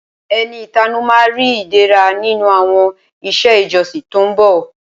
Ẹni ìtanú ma ri Ìdẹ̀ra nínú àwọn iṣẹ́ ìjọsìn tó ń bọ̀